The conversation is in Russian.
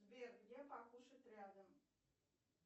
сбер где покушать рядом